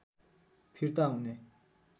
फिर्ता हुने